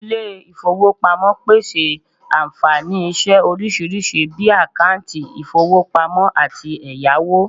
ile ifowopamopese anfani ise orisirisi bii akanti ifowopamo ati eyawo